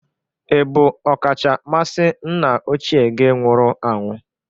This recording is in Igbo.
Ị bụ ọkachamasị nna ochie gi nwụrụ anwụ?